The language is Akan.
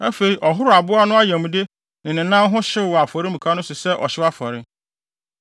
Afei, ɔhoroo aboa no ayamde ne ne nan ho hyew wɔ afɔremuka no so sɛ ɔhyew afɔre.